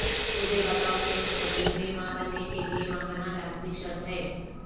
مجھے بتاو کہ مستقبل میں ماں بننے کے لئے ماہانہ لازمی شرط ہے